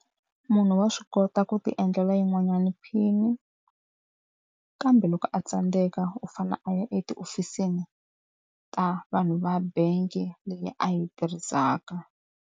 Munhu wa swi kota ku ti endlela yin'wanyana PIN-i, kambe loko a tsandzeka u fanele a ya etihofisini ta vanhu va bangi leyi a yi tirhisaka.